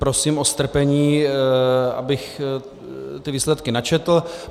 Prosím o strpení, abych ty výsledky načetl.